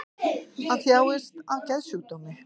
Hann þjáist af geðsjúkdómi